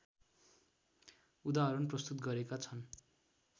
उदाहरण प्रस्तुत गरेका छन्